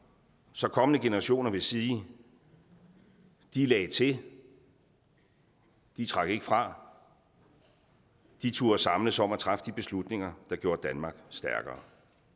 så kommende generationer vil sige de lagde til de trak ikke fra de turde samles om at træffe de beslutninger der gjorde danmark stærkere